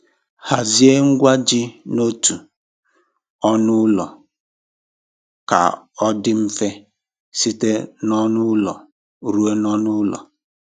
Hazie ngwa gị n'otu ọnụ ụlọ ka ọ dị mfe site n'ọnụ ụlọ ruo n'ọnụ ụlọ.